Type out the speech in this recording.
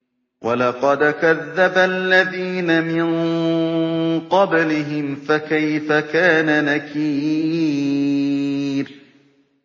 وَلَقَدْ كَذَّبَ الَّذِينَ مِن قَبْلِهِمْ فَكَيْفَ كَانَ نَكِيرِ